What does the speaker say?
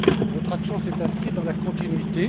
Notre action s'est inscrite dans la continuité.